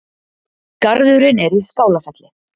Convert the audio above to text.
Garðurinn er í Skálafelli